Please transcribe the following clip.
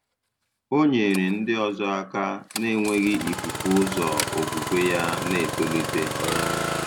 Ọ nyere ndị ọzọ aka na-enweghị ifufu ụzọ okwukwe ya na-etolite.